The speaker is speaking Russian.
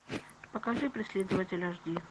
покажи преследователь аш ди